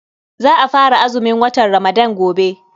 Za a fara azumin watan Ramadan gobe.